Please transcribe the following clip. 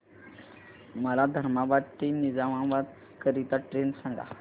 मला धर्माबाद ते निजामाबाद करीता ट्रेन सांगा